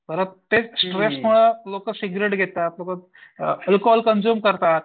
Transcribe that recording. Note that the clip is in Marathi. प्रत्येक स्ट्रेसमुळं लोकं सिगरेट घेतात, लोकं अल्कोहोल कंझ्युम करतात.